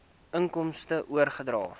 inkomste oordragte